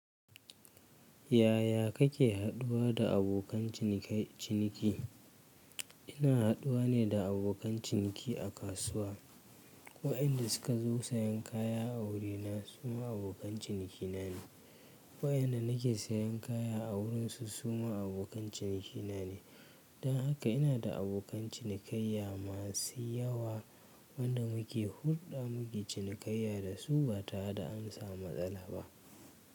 Yaya kake haduwa da abokan cinikai ciniki? Ina haduwa ne da abokan ciniki a kasuwa. Waɗanda suka zo sayan kaya a wurina su ma abokan ciniki na ne. Waɗanda nake sayan kaya a wurinsu su ma abokan ciniki na ne. Don haka ina da abokan cinikayya masu yawa waɗanda muke hulɗa, muke cinikayya da su ba tare da an samu matsala ba.